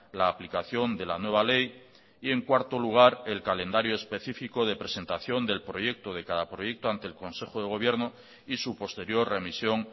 la aplicación de la nueva ley y en cuarto lugar el calendario específico de presentación del proyecto de cada proyecto ante el consejo de gobierno y su posterior remisión